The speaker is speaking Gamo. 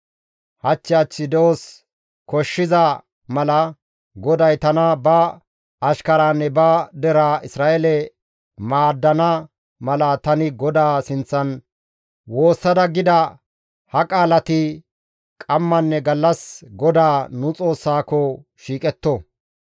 Hach hach de7os koshshiza mala, GODAY tana ba ashkaraanne ba deraa Isra7eele maaddana mala, tani GODAA sinththan woossada gida ha qaalati qammanne gallas GODAA, nu Xoossaako shiiqetto.